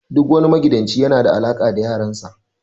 Duk wani magidanci yana da alaka da yaran sa.